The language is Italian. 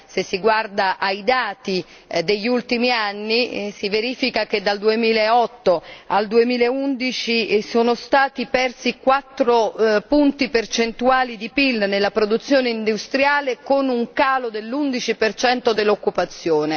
Se si guarda ai dati degli ultimi anni, si constata che dal 2008 al 2011 sono stati persi 4 punti percentuali del PIL nella produzione industriale con un calo dell'11 dell'occupazione.